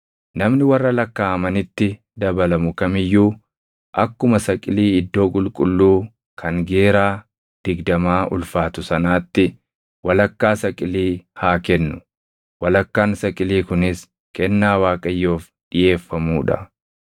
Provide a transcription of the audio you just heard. Namni warra lakkaaʼamanitti dabalamu kam iyyuu akkuma saqilii iddoo qulqulluu kan geeraa digdamaa ulfaatu sanaatti walakkaa saqilii haa kennu. Walakkaan saqilii kunis kennaa Waaqayyoof dhiʼeeffamuu dha.